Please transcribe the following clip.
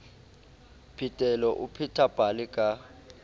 phetelo o pheta pale ka